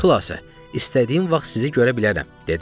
Xülasə, istədiyim vaxt sizi görə bilərəm, dedim.